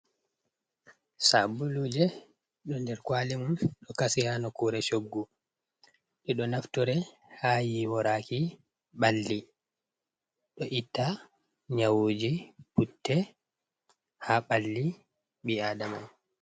Sabbuluje ɗo der kwali mum ɗo kasi haa nokkure shoggu. Ɓe ɗo naftore ha yiiworaki balli, ɗo itta nyawuji putte ha balli bii aadama.